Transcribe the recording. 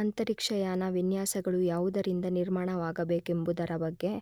ಅಂತರಿಕ್ಷಯಾನ ವಿನ್ಯಾಸಗಳು ಯಾವುದರಿಂದ ನಿರ್ಮಾಣವಾಗಬೇಕೆಂಬುದರ ಬಗೆಗೂ